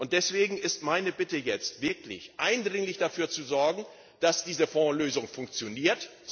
Deswegen ist meine Bitte, jetzt wirklich eindringlich dafür zu sorgen, dass diese Fondslösung funktioniert.